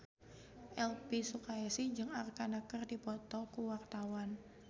Elvy Sukaesih jeung Arkarna keur dipoto ku wartawan